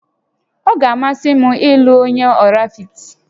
Ọ ga-amasị m ịlụ onye Ọraifite